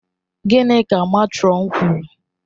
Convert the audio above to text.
Gịnị ka matron kwuru?